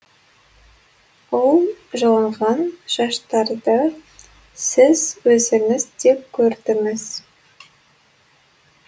ол жұлынған шаштарды сіз өзіңіз де көрдіңіз